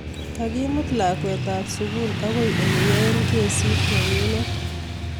Kikimut lakwet ab sukul akoi aleyae kesit nenyiet.